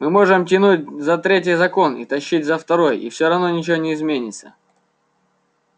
мы можем тянуть за третий закон и тащить за второй и всё равно ничего не изменится